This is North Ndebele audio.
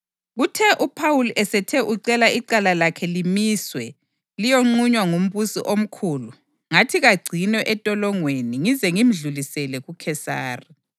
Kuthe uPhawuli esethe ucela icala lakhe limiswe liyoqunywa nguMbusi oMkhulu, ngathi kagcinwe entolongweni ngize ngimdlulisele kuKhesari.”